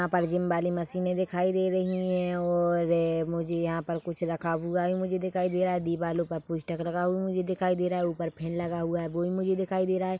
यहाँ पर जिम वाले मशीने दिखाई दे रही है और ए मुझे यहाँ पर कुछ रखा हुआ मुझे दिखाई दे रहा है दीवालो का पोस्टर लगा हुआ दिखाई दे रहा है ऊपर फेन लगा हुआ है वो भी मुझे दिखाई दे रहा है।